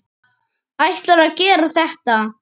Ætlarðu að gera þetta?